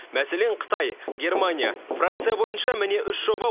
мәселен қытай германия франция бойынша міне үш жоба